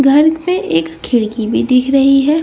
घर में एक खिड़की भी दिख रही है।